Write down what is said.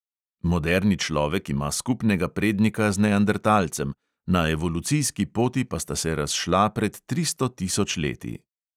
Moderni človek ima skupnega prednika z neandertalcem, na evolucijski poti pa sta se razšla pred tristo tisoč leti.